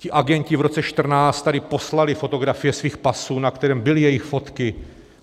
Ti agenti v roce 2014 tady poslali fotografie svých pasů, na kterém byly jejich fotky.